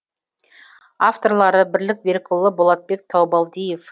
авторлары бірлік берікұлы болатбек таубалдиев